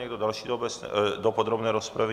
Někdo další do podrobné rozpravy?